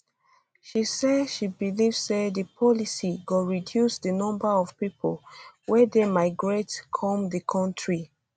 she say she believe say di policy go reduce di numbers of pipo wey dey migrate come di kontri